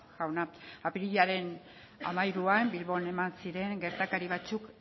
jauna apirilaren hamairuan bilbon eman ziren gertakari batzuk